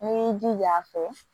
N'i y'i jija a fɛ